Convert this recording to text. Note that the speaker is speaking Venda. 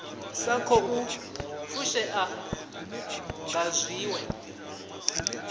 sa khou fushea nga zwiwe